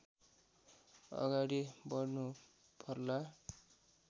अगाडि बढ्नुपर्ला